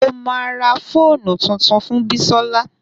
Mo ma ra fóònù tuntun fún Bisola